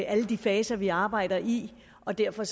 alle de faser vi arbejder i og derfor